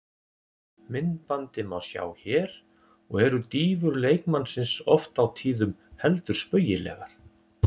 Myndbandið má sjá hér og eru dýfur leikmannsins oft á tíðum heldur spaugilegar.